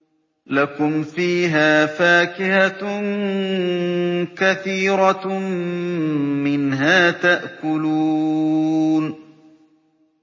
لَكُمْ فِيهَا فَاكِهَةٌ كَثِيرَةٌ مِّنْهَا تَأْكُلُونَ